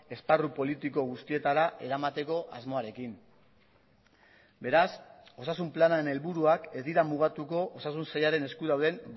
esparru politiko guztietara eramateko asmoarekin beraz osasun planaren helburuak ez dira mugatuko osasun sailaren esku dauden